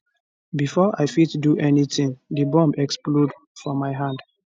bifor i fit do anytin di bomb explode for my hand